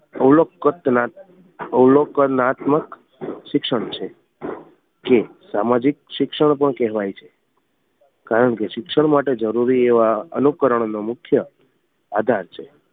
અવલોકનાત્મ અવલોકનાત્મક શિક્ષણ છે કે સામાજિક શિક્ષણ પણ કહેવાય છે કારણ કે શિક્ષણ માટે જરૂરી એવા અનુકરણ નો મુખ્ય આધાર છે